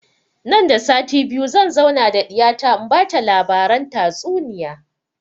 Nan da sati biyu zan zauna da ɗiya ta in bata labaran tatsuniya